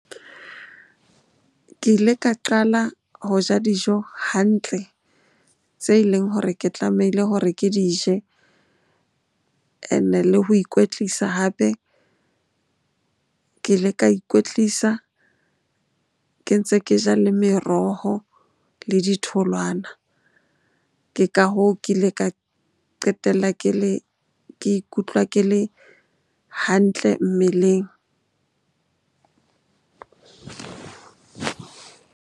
Ke ile ka qala ho ja dijo hantle tse leng hore ke tlamehile hore ke di je and-e le ho ikwetlisa hape ke ile ka ikwetlisa ke ntse ke ja le meroho le ditholwana. Ke ka hoo, ke ile ka qetella ke le, ke ikutlwa ke le hantle mmeleng.